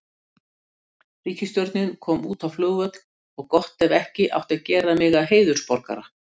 Ríkisstjórnin kom út á flugvöll og gott ef ekki átti að gera mig að heiðursborgara